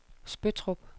Spøttrup